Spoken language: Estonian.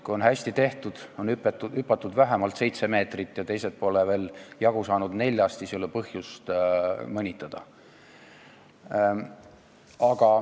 Kui on hästi tehtud, hüpatud vähemalt seitse meetrit, ja teised pole veel neljastki jagu saanud, siis ei ole põhjust mõnitada.